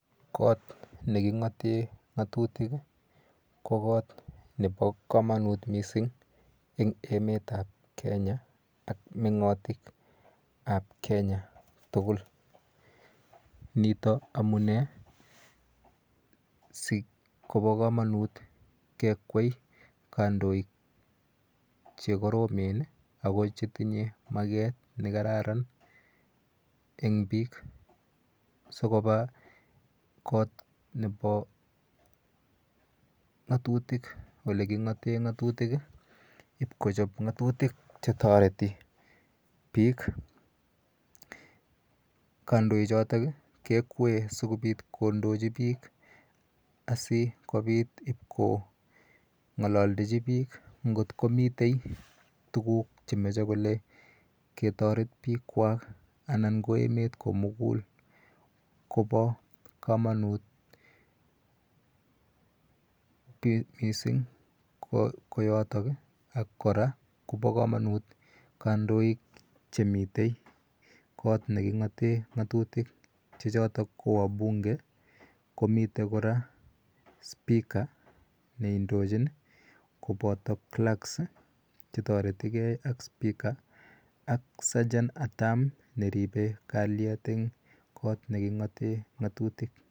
Kot ne king'ate ng'atutik ko kot nepa kamanut missing' eng' emet ap Kenya ak meng'atik ap Kenya tugul. Nitok amunee si kopa kamanut kekwei kandoik che koromen ako che tinye maket ne kararan ako eng' piik si kopa kot nepa ng'atutik , ole king'ate ng'atutik ip kochop ng'atutik che tareti piik. Kandochotok i kekwee asikopi kondochi piik asikopit ipko ng'alaldechi piik ngot ko mitei tuguk che mache kele ketaret piikwak anan ko emet ko mugul. Ko pa kamanut missing' ko yotok i ,ak kora kopa kamanit kandoik che mitei yotok kot ne king'ate ng'atutik che chotok ko wabunge komiten kora speaker ne indochin kopata clerks che tareti gei ak speaker ak Segeant at arms ne ripei kalyet en kot ne king'ate ng'atutik.